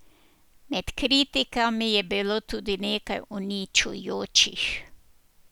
Med kritikami je bilo tudi nekaj uničujočih.